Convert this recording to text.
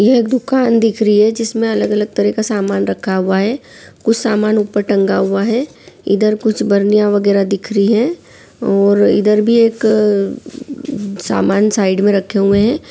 ये एक दुकान दिख रही है जिसमे अलग-अलग तरह का सामान रखा हुआ है कुछ सामान ऊपर टंगा हुआ है इधर कुछ बनिया वगेरा दिख रही है और इधर भी एक सामान साइड में रखे हुए है।